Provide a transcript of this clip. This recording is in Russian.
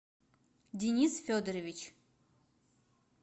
денис федорович